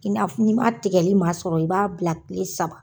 I n'a fɔ, n'i ma tigɛli masɔrɔ i b'a bila kile saba